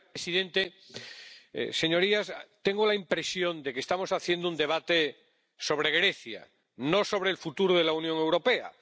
Señor presidente, señorías, tengo la impresión de que estamos haciendo un debate sobre Grecia, no sobre el futuro de la Unión Europea.